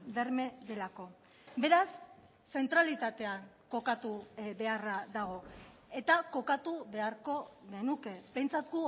berme delako beraz zentralitatean kokatu beharra dago eta kokatu beharko genuke behintzat